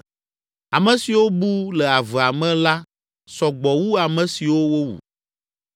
Ame siwo bu le avea me la sɔ gbɔ wu ame siwo wowu.